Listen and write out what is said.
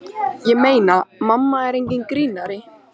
Ég meina, mamma er enginn grínari.